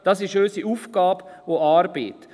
Das ist unsere Aufgabe und Arbeit.